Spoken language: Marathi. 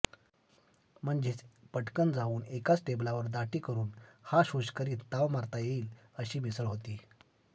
म्हणजे पटकन जावून एकाच टेबलावर दाटीकरून हाश हुश करीत ताव मारता येईल अशी मिसळ होती